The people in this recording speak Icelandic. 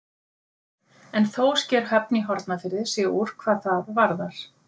En þó sker Höfn í Hornafirði sig úr hvað það varðar.